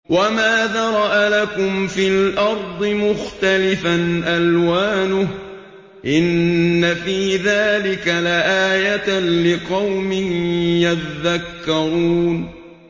وَمَا ذَرَأَ لَكُمْ فِي الْأَرْضِ مُخْتَلِفًا أَلْوَانُهُ ۗ إِنَّ فِي ذَٰلِكَ لَآيَةً لِّقَوْمٍ يَذَّكَّرُونَ